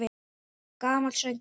Gamall söngur!